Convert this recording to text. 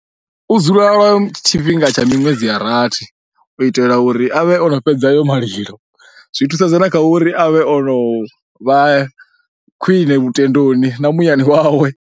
U dzula lwa tshifhinga tsha miṅwedzi ya rathi u itela uri a vhe o no fhedza ayo malilo, zwi thusedza na kha uri a vhe o no vha khwine lutendoni na muyani wawe.